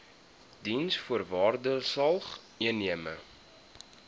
diensvoorwaardesalgemene